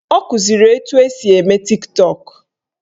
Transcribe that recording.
Ọ kụziri etu esi eme Tiktọk